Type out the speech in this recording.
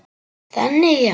Þannig já.